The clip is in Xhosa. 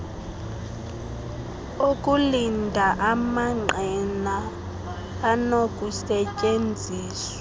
okulinda amangqina anokusetyenziswa